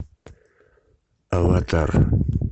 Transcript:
аватар